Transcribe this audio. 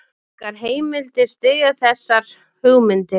Engar heimildir styðja þessar hugmyndir.